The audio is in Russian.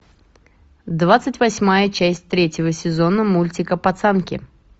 двадцать восьмая часть третьего сезона мультика пацанки